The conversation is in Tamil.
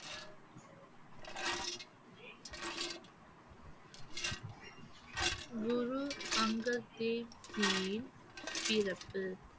குரு அங்கத் தேவ்ஜீயின் பிறப்பு